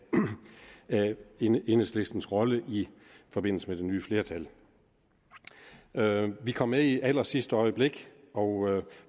af enhedslistens rolle i forbindelse med det nye flertal vi kom med i allersidste øjeblik og